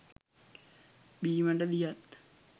බීමට දියත්,